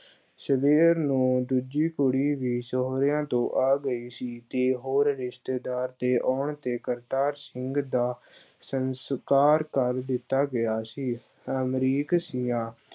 ਸਵੇਰ ਨੂੰ ਦੂਜੀ ਕੁੜੀ ਵੀ ਸਹੁਰਿਆਂ ਤੋਂ ਆ ਗਈ ਸੀ ਤੇ ਹੋਰ ਰਿਸ਼ਤੇਦਾਰ ਦੇ ਆਉਣ ਤੇ ਕਰਤਾਰ ਸਿੰਘ ਦਾ ਸੰਸਕਾਰ ਕਰ ਦਿੱਤਾ ਗਿਆ ਸੀ, ਅਮਰੀਕ ਸਿਆਂ